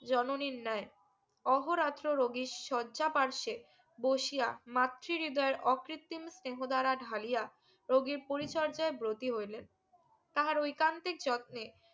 জননীর ন্যায় অহর আচরো রোগীর সর্যা বাসসে বসিয়া মাতৃহৃদয়ে অকৃত্রিম স্নেহ দ্বারা ঢালিয়া রোগীর পরিচর্যায় বর্তি হইলেন তাহার ওইকান্তির যত্নে